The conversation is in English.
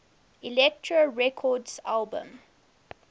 elektra records albums